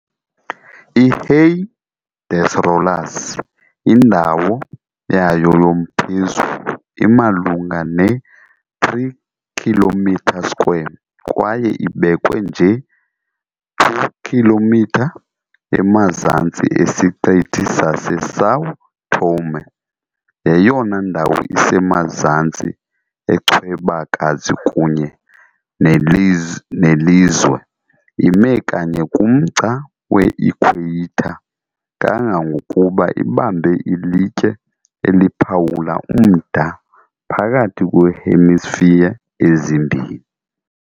I-Ilhéu das Rolas, indawo yayo yomphezulu imalunga ne-3 km² kwaye ibekwe nje 2km emazantsi esiqithi saseSão Tomé, yeyona ndawo isemazantsi echwebakazi kunye nelizwe, imi kanye kumgca we-Ikhweyitha, kangangokuba ibamba ilitye eliphawula umda phakathi kweehemisphere ezimbini.